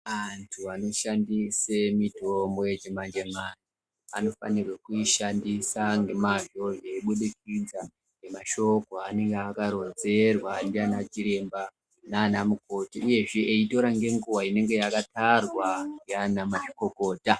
Antu anoshandise mitombo yechimanjemanje anofanirwa kuishandisa ngemazvo zveibudikidza nemasjhoko anenge akaronzerwa ndianachiremba nanamukoti uyezve eitora nenguwa inenge yakatarwa ndianamazvikokota.